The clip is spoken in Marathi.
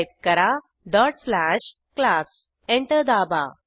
टाईप करा classडॉट स्लॅश क्लास एंटर दाबा